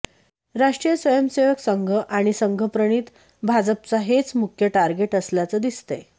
राष्ट्रीय स्वयंसेवक संघ आणि संघप्रणित भाजपचा हेच मुख्य टार्गेट असल्याचं दिसतंय